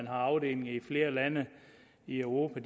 har afdelinger i flere lande i europa